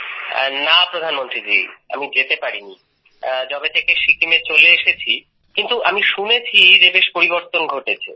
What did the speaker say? হ্যাঁ প্রধানমন্ত্রীজী আমি যেতে পারিনি যবে থেকে সিকিমে চলে এসেছি কিন্তু আমি শুনেছি যে বেশ পরিবর্তন ঘটেছে